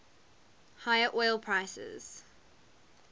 higher oil prices